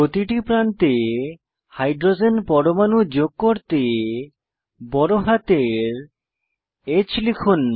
প্রতিটি প্রান্তে হাইড্রোজেন পরমাণু যোগ করতে বড় হাতের H টিপুন